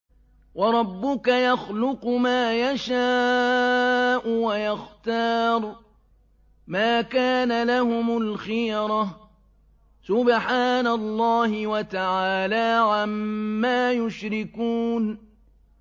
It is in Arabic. وَرَبُّكَ يَخْلُقُ مَا يَشَاءُ وَيَخْتَارُ ۗ مَا كَانَ لَهُمُ الْخِيَرَةُ ۚ سُبْحَانَ اللَّهِ وَتَعَالَىٰ عَمَّا يُشْرِكُونَ